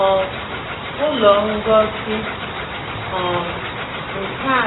um Ụlọ ngosi um nka